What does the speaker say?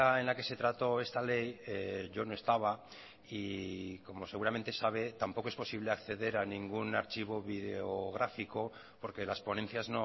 en la que se trató esta ley yo no estaba y como seguramente sabe tampoco es posible acceder a ningún archivo videográfico porque las ponencias